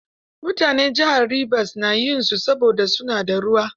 Mutanen jihar Ribas na yin su, saboda su na da ruwa.